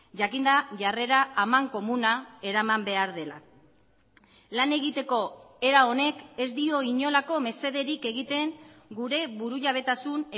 jakinda jarrera amankomuna eraman behar dela lan egiteko era honek ez dio inolako mesederik egiten gure burujabetasun